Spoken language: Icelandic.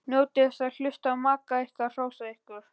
Njótið þess að hlusta á maka ykkar hrósa ykkur.